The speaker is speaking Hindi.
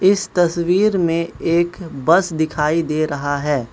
इस तस्वीर में एक बस दिखाई दे रहा है।